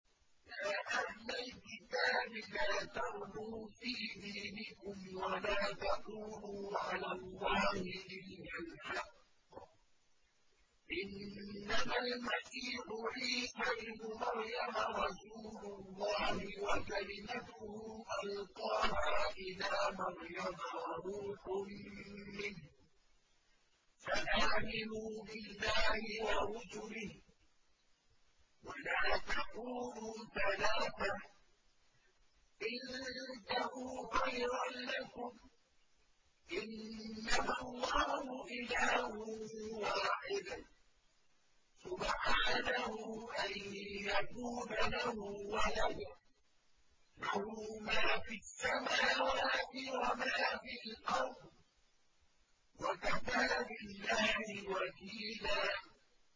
يَا أَهْلَ الْكِتَابِ لَا تَغْلُوا فِي دِينِكُمْ وَلَا تَقُولُوا عَلَى اللَّهِ إِلَّا الْحَقَّ ۚ إِنَّمَا الْمَسِيحُ عِيسَى ابْنُ مَرْيَمَ رَسُولُ اللَّهِ وَكَلِمَتُهُ أَلْقَاهَا إِلَىٰ مَرْيَمَ وَرُوحٌ مِّنْهُ ۖ فَآمِنُوا بِاللَّهِ وَرُسُلِهِ ۖ وَلَا تَقُولُوا ثَلَاثَةٌ ۚ انتَهُوا خَيْرًا لَّكُمْ ۚ إِنَّمَا اللَّهُ إِلَٰهٌ وَاحِدٌ ۖ سُبْحَانَهُ أَن يَكُونَ لَهُ وَلَدٌ ۘ لَّهُ مَا فِي السَّمَاوَاتِ وَمَا فِي الْأَرْضِ ۗ وَكَفَىٰ بِاللَّهِ وَكِيلًا